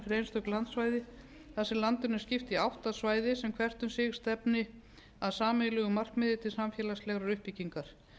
einstök landsvæði þar sem landinu er skipt í átta svæði sem hvert um sig stefni að sameiginlegu markmiði til samfélagslegrar uppbyggingar